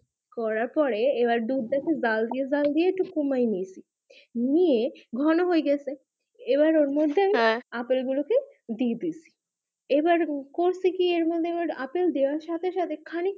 করা পরে এবার দুধ টা খুব জাল দিয়ে জাল দিয়ে একটু সময় নিয়েছি নিয়ে ঘন হয়ে গেছে এবার ওর মধ্যে আবার আপেল গুলো কে দিয়ে দিয়েছি এবার করছি কি আপেল গুলো কে দেওয়ার সাথে সাথে খানেক খানেক